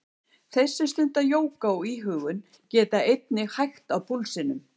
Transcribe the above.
Þeir sem stunda jóga og íhugun geta einnig hægt á púlsinum.